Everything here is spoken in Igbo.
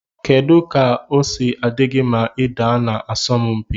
Kedu ka osi adigi ma ida na asọm mpi?